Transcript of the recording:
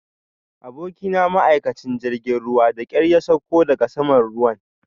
Abokina ma'aikacin jirgin ruwa da ƙyar ya sauko daga saman ruwan